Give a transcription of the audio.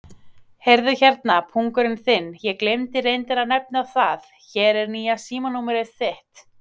Heyrðu hérna, pungurinn þinn, ég gleymdi reyndar að nefna það, hér er nýja símanúmerið þitt.